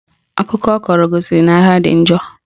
Akụkọ ọ kọrọ gosiri na agha dị njọ